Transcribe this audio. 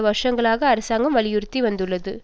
வருஷங்களாக அரசாங்கம் வலியுறுத்தி வந்துள்ளது